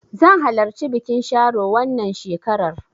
Zan halarci bikin sharo wannan shekarar.